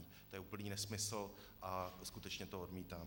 To je úplný nesmysl a skutečně to odmítám.